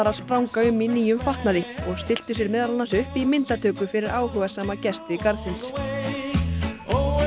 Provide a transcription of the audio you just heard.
spranga um í nýjum fatnaði og stilltu sér meðal annars upp í myndatöku fyrir áhugasama gesti garðsins og